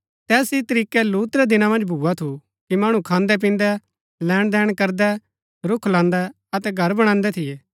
तैस ही तरीकै लूत रै दिना मन्ज भुआ थू कि मणु खान्दैपिन्दै लैणदिन करदै रूख लान्दै अतै घर बणान्दै थियै